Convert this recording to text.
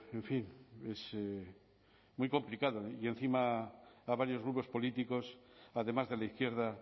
en fin es muy complicado y encima a varios grupos políticos además de la izquierda